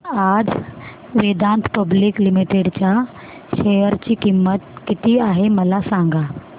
आज Vedanta public limited च्या share ची किंमत किती आहे मला सांगा